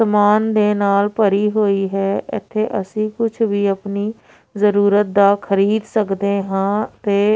ਸਮਾਨ ਦੇ ਨਾਲ ਭਰੀ ਹੋਈ ਹੈ ਇਥੇ ਅਸੀਂ ਕੁਝ ਵੀ ਆਪਣੀ ਜਰੂਰਤ ਦਾ ਖਰੀਦ ਸਕਦੇ ਹਾਂ ਤੇ--